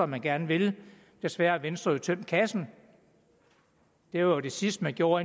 man gerne vil desværre har venstre jo tømt kassen det var jo det sidste man gjorde